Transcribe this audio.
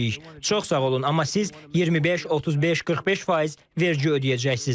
Çox sağ olun, amma siz 25, 35, 45% vergi ödəyəcəksiz.